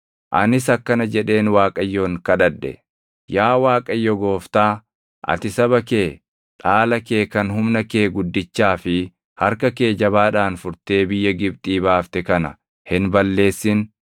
Anis akkana jedheen Waaqayyoon kadhadhe; “Yaa Waaqayyo Gooftaa, ati saba kee, dhaala kee kan humna kee guddichaa fi harka kee jabaadhaan furtee biyya Gibxii baafte kana hin balleessin.